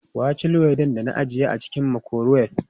Wa ya ci luwaiɗin da ajiye a cikin makurowef?